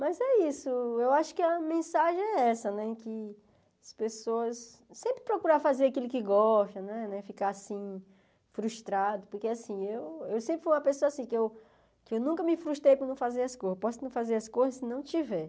Mas é isso, eu acho que a mensagem é essa, né, que as pessoas sempre procuram fazer aquilo que gostam, né, ficar assim frustrado, porque assim, eu eu sempre fui uma pessoa assim, que eu nunca me frustrei por não fazer as coisas, posso não fazer as coisas se não tiver.